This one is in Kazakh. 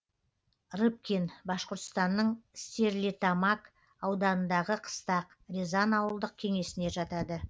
рыбкин башқұртстанның стерлитамак ауданындағы қыстақ рязан ауылдық кеңесіне жатады